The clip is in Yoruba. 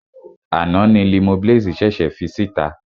Àná ni Limoblaze ṣèṣè fi síta.